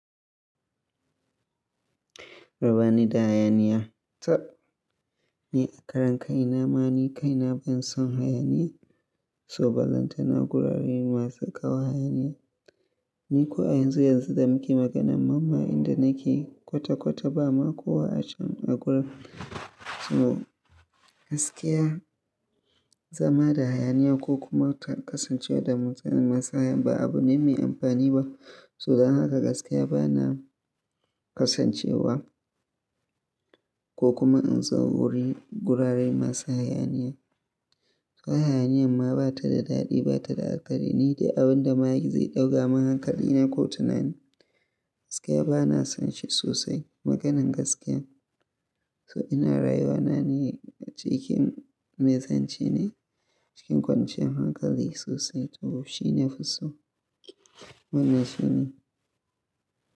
Raba ni da hayaniya. Tab, ni akaran kai na ma ni kai na ban son hayaniya. So balanta na gurare masu kawo hayaniya. Ni ko a yanzu yanzu da muke maganan mamman inda nake kwata-kwata ba ma kowa a can a gurin. So gaskiya zama da hayaniya ko kuma ta kasance da mutun masu hayaniya ba abu ne mai amfani ba. So dan haka gaskiya ba na kasancewa ko kuma in zo wurin gurare masu hayaniya. Ko hayaniyan ma ba ta da daɗi ba ta da alkairi ni dai abun da ma zai ɗaga min hankali na ko tunani, Gaskiya ba na san shi sosai maganan gaskiyan. So ina rayuwa na ne cikin maizance ne cikin kwanciyan hankali sosai. So shi na fi so bana so ne.